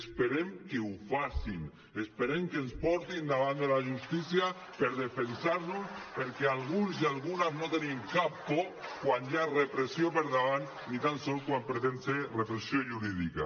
esperem que ho facin esperem que ens portin davant de la justícia per defensar nos perquè alguns i algunes no tenim cap por quan hi ha repressió per davant ni tan sols quan pretén ser repressió jurídica